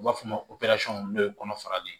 U b'a fɔ o ma ko n'o ye kɔnɔfara de ye